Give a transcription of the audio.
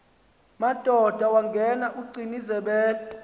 madoda wangena ugcinizibele